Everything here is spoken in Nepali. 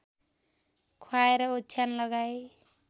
ख्वाएर ओछ्यान लगाई